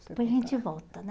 Depois a gente volta, né?